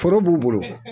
Foro b'u bolo